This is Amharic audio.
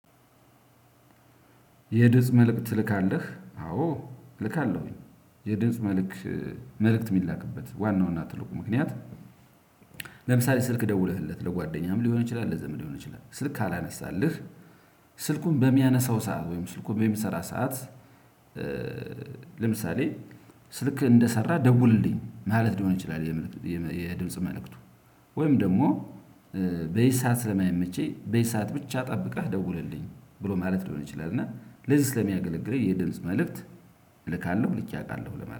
የድምጽ መልእክት ትልካለህ አዎ እልካለሁኝ የድምጽ መልክ መልእክት የሚላክበት ዋናውን ትልቁ ምክንያት። ለምሳሌ ስልክ ደውለህለት ለጓደኛህም ሊሆን ይችላል ለዘመን ሊሆን ይችላል ስልክ ካላነሳልህ። ስልኩን በሚያነሳው ሰዓት ወይም ስልኩን በሚሰራ ሰዓት። ለምሳሌ ስልክ እንደሰራ ደውልልኝ ማለት ሊሆን ይችላል። የድምጽ መልእክቱ ወይም ደግሞ በዚህ ሰዓት ስለማይመቸኝ በዚህ ሰዓት ብቻ ጠብቀህ ደውለልኝ ብሎ ማለት ሊሆን ይችላል። እና ለዚህ ስለሚያገለግለኝ የድምጽ መልእክት። እልካለሁ ልኬ አውቃለሁ ለማለት